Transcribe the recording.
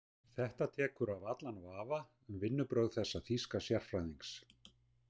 Þetta tekur af allan vafa um vinnubrögð þessa þýska sérfræðings.